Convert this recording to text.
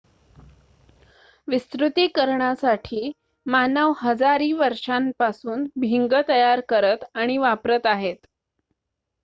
विस्तृतीकरणासाठी मानव हजारि वर्षांपासून भिंग तयार करत आणि वापरत आहेत